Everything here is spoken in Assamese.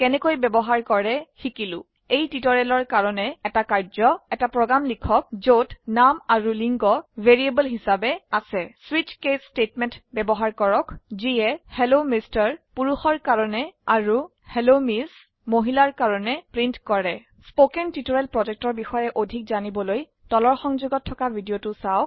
কেনেকৈ বয়ৱহাৰ কৰে শিকিলো এই টিউটৰীয়েলৰ কাৰনে এটা কাৰ্য্ এটা প্ৰগ্ৰাম লিখক যত নাম আৰু লিঙ্গ ভেৰিয়াবল হিচাবে আছে স্বিচ কেচ ষ্টেটমেণ্ট বয়ৱহাৰ কৰক যিয়ে হেল্ল এমআৰ পুৰুষৰ কাৰনে আৰু হেল্ল এমএছ মহিলাৰ কাৰনে প্ৰীন্ট কৰে spoken টিউটৰিয়েল projectৰ বিষয়ে অধিক জানিবলৈ তলৰ সংযোগত থকা ভিডিঅ চাওক